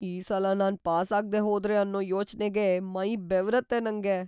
ಈ ಸಲ ನಾನ್‌ ಪಾಸ್‌ ಆಗ್ದೇ ಹೋದ್ರೆ ಅನ್ನೋ ಯೋಚ್ನೆಗೇ ಮೈ ಬೆವರತ್ತೆ ನಂಗೆ.